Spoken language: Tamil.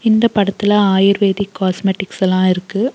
இந்த படத்துல ஆயுர்வேதிக் காஸ்மெட்டிக்ஸ் எல்லா இருக்கு.